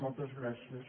moltes gràcies